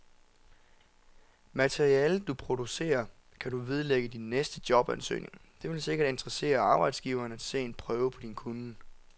Materialet, du producerer, kan du vedlægge din næste jobansøgning, det vil sikkert interessere arbejdsgiveren at se en prøve på din kunnen.